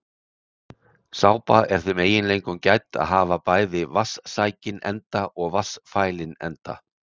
Sápa er þeim eiginleikum gædd að hafa bæði vatnssækinn enda og vatnsfælinn enda.